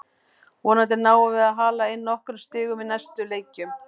Vonandi náum við að hala inn nokkrum stigum í næstu leikjum.